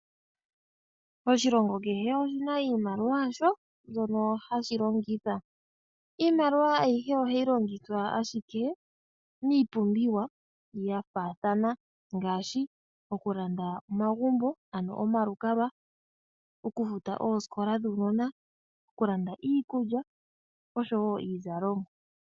Oshilongo kehe oshina iimaliwa yasho mbyono hashi longitha. Iimaliwa ayihe ohayi longithwa ashike miipumbiwa ya faathana ngaashi okulanda omagumbo ano omalukakwa, oku futa oosikola dhuunona, oku landa iikulya osho woo iizalomwa.